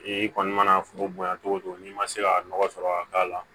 I kɔni mana foro bonya togo togo n'i ma se ka nɔgɔ sɔrɔ ka k'a la